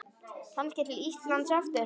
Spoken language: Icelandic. Kannski til Íslands aftur?